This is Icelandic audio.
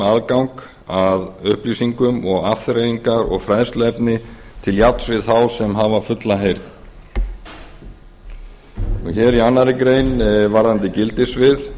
aðgang að upplýsingum og afþreyingar og fræðsluefni til jafns við þá sem hafa fulla heyrn hér í annarri grein varðandi gildissvið